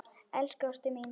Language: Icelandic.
Elsku ástin mín.